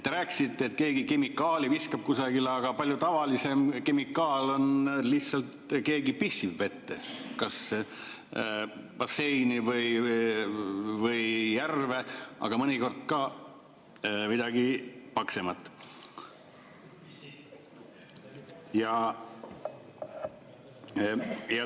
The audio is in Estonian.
Te rääkisite, et keegi viskab kemikaali kusagile, aga palju tavalisem kemikaal on lihtsalt see, kui keegi pissib vette, kas basseini või järve, aga mõnikord teeb ka midagi paksemat.